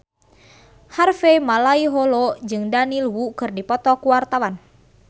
Harvey Malaiholo jeung Daniel Wu keur dipoto ku wartawan